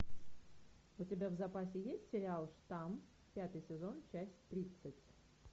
у тебя в запасе есть сериал штамм пятый сезон часть тридцать